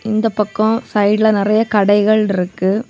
இந்தப் பக்கம் சைடுல நறைய கடைகள் இருக்கு.